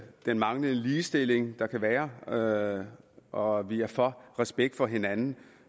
den manglende ligestilling der kan være og og vi er for respekt for hinanden